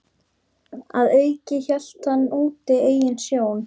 Að auki hélt hann úti eigin sjón